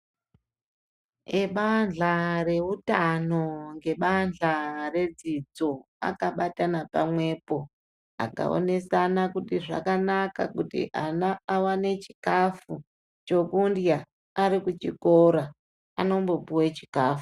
Ebahla re utano nge bahla re dzidzo akabatana pamwepo aka onesana kuti zvakanaka kuti ana awane chikafu chekudya ari ku chikora anombo puwe chikafu.